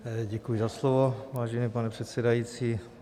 Děkuji za slovo, vážený pane předsedající.